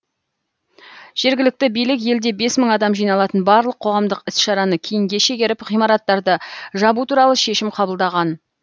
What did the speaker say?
жергілікті билік елде бес мың адам жиналатын барлық қоғамдық іс шараны кейінге шегеріп ғимараттарды жабу туралы шешім қабылдаған